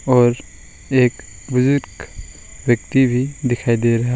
और एक बुजुर्ग व्यक्ति भी दिखाई दे रहा--